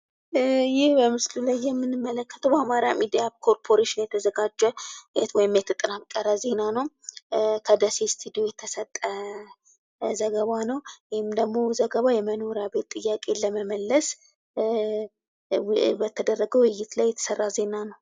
ይህ በምስሉ ላይ የምንመለከተው በአማራ ሚዲያ ኮርፖሬሽን የተዘጋጀ ወይም የተጠናከረ ዜና ነው። ከደሴ ስታዲዮ የተሰጠ ዘገባ ነው ይህም ደግሞ ዘገባው የመኖሪያ ቤት ጥያቄን ለመመለስ በተደረገ ውይይት ላይ የተሰራ ዜና ነው።